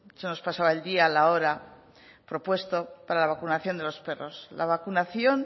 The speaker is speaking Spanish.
se nos pasaba el día la hora propuesto para la vacunación de los perros la vacunación